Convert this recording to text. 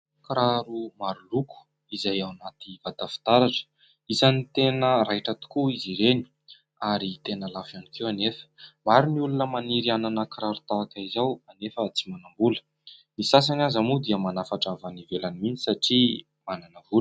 Kiraro maroloko izay ao anaty vata fitaratra. Isany tena raiitra tokoa izy ireny ary tena lafo ihany koa nefa. Maro ny olona maniry hanana kiraro tahaka izao nefa tsy manam-bola. Ny sasany aza moa dia manafatra avy any ivelany mihitsy satria manana vola.